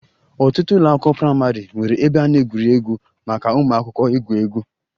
Ọtụtụ ụlọ akwụkwọ praịmarị nwere ebe a na-egwu egwuregwu maka ụmụaka igwu egwu